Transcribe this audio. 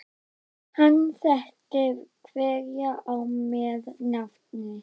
Hann þekkti hverja á með nafni.